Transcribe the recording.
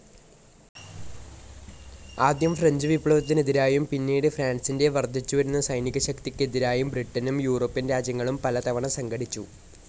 ആദ്യം ഫ്രഞ്ച്‌ വിപ്ലവത്തിനെതിരായും പിന്നീട് ഫ്രാൻസിന്റെ വർദ്ധിച്ചു വരുന്ന സൈനികശക്തിക്കെതിരായും ബ്രിട്ടനും യൂറോപ്യൻ രാജ്യങ്ങളും പലതവണ സംഘടിച്ചു.